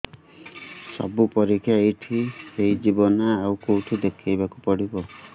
ସବୁ ପରୀକ୍ଷା ଏଇଠି ହେଇଯିବ ନା ଆଉ କଉଠି ଦେଖେଇ ବାକୁ ପଡ଼ିବ